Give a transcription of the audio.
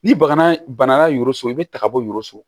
Ni bana so i be ta ka bɔ yuruguso